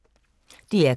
DR K